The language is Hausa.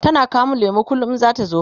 tana kawo min lemu kullum in zata zo